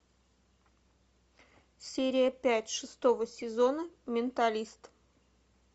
серия пять шестого сезона менталист